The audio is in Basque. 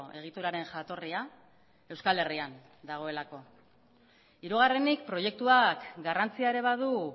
egituraren jatorria euskal herrian dagoelako hirugarrenik proiektuak garrantzia ere badu